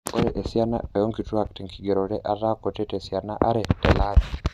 Ore esiana o nkitwak te nkigerore etaa kuti tesiana are tele ari.